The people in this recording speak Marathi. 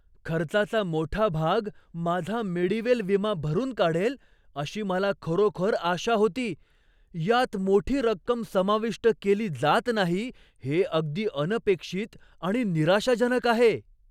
खर्चाचा मोठा भाग माझा मेडीवेल विमा भरून काढेल अशी मला खरोखर आशा होती. यात मोठी रक्कम समाविष्ट केली जात नाही हे अगदी अनपेक्षित आणि निराशाजनक आहे.